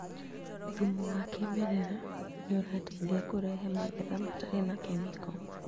Thumu wa kĩmerera nĩũrateithia kũrehe magetha matarĩ na kemiko